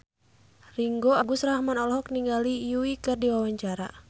Ringgo Agus Rahman olohok ningali Yui keur diwawancara